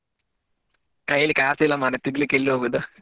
ಕಯ್ಲಿ ಕಾಸಿಲ್ಲಾ ಮರ್ರೆ ತೀರ್ಗ್ಲಿಕ್ಕೆ ಎಲ್ಲಿ ಹೋಗುದು.